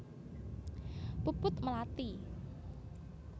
Puput Melati